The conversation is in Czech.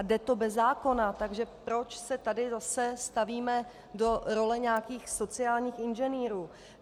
A jde to bez zákona, takže proč se tady zase stavíme do role nějakých sociálních inženýrů?